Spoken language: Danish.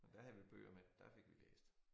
Men der havde vi bøger med der fik vi læst